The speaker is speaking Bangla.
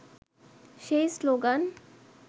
সেই শ্লোগান